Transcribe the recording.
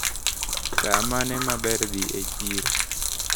Saa mane maber dhi e chiro?